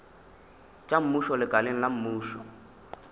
tša mmušo lekaleng la mmušo